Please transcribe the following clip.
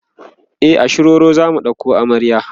e a shiroro zamu ɗauko amarya